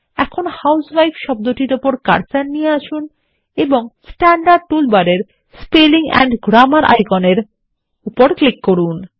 এখন হুসেভাইফ শব্দটির উপর কার্সার নিয়ে আসুন এবং স্ট্যান্ডার্ড টুলবারেরমধ্যে স্পেলিং এন্ড Grammarআইকনের উপর ক্লিক করুন